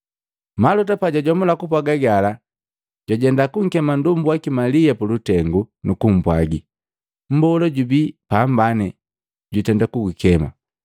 Maluta pajwajomula kupwaga gala, jwajenda kunkeme nndombu waki Malia pulutengu, nukumpwagi, “Mbola jubi apambane, jutenda kugukema.”